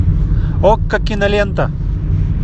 окко кинолента